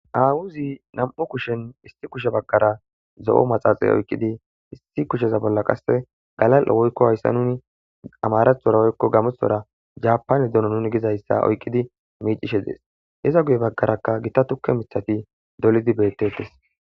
awuzi nam7u kushen isti kushe baggara zo7o maxaaxay oykqidi issi kusheza bolla qasse galal7 woykko hayssa nuni amarathora woykko gamuthora japane dono nuni gizayssa oykqidi miicishe dees heza guye baggarakka gita tukke mithati dolidi bettettes